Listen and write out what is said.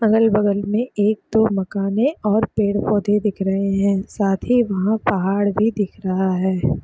अगल-बगल में एक दो मकाने और पेड़-पौधे दिख रहे है साथ ही पहाड़ भी दिख रहा हैं ।